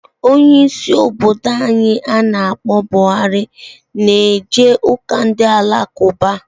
Onye isi obodo anyi gara aga ana akpo Buhari na eje uka Ndị Alakụba